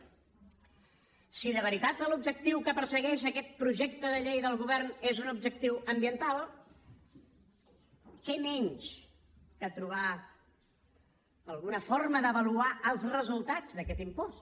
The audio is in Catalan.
si de veritat l’objectiu que persegueix aquest projecte de llei del govern és un objectiu ambiental què menys que trobar alguna forma d’avaluar els resultats d’aquest impost